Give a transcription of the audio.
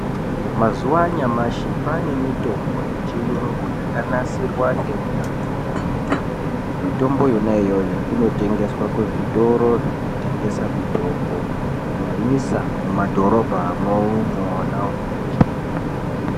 Mazuva anyamashi kwane mitombo yechiyungu yakanasirwa ngeunyanzvi hukurutu. Mitombo yona iyoyo inotengeswa kuzvitoro zvinotengesa mitombo kunyanyisa mumadhorobhamwo mwona imwomwo.